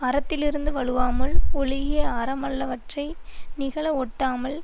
அறத்திலிருந்து வழுவாமல் ஒழுகி அறமல்லாதவற்றை நிகழ வொட்டாமல்